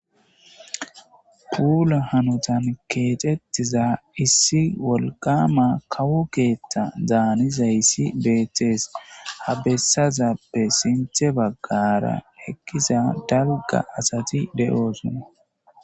Puula hanotan kexetiza issi wolqama kawo keetha danizaysi betes ,ha betizaysazappe sintha bagara eqiza dalga asati de'osona